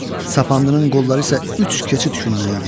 Sapandının qolları isə üç keçid günnən idi.